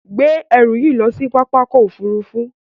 Gbé ẹrù yìí lọ sí pápákọ̀-òfurufú.